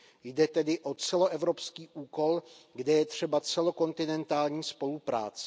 Jde tedy o celoevropský úkol, kde je třeba celokontinentální spolupráce.